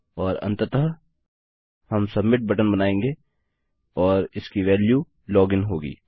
और अन्ततः हम सबमिट बटन बनायेंगे और इसकी वेल्यू लॉग इन होगी